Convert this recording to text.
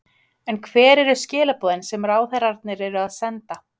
En hver eru skilaboðin sem ráðherrarnir eru að senda?